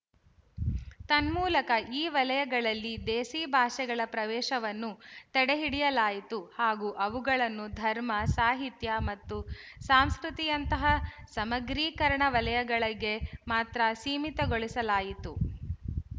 ತನ್ಮೂಲಕ ಈ ವಲಯಗಳಲ್ಲಿ ದೇಸಿ ಭಾಷೆಗಳ ಪ್ರವೇಶವನ್ನು ತಡೆಹಿಡಿಯಲಾಯಿತು ಹಾಗೂ ಅವುಗಳನ್ನು ಧರ್ಮ ಸಾಹಿತ್ಯ ಮತ್ತು ಸಾಂಸ್ಕೃತಿಯಂತಹ ಸಮಗ್ರೀಕರಣ ವಲಯಗಳಿಗೆ ಮಾತ್ರ ಸೀಮಿತಗೊಳಿಸಲಾಯಿತು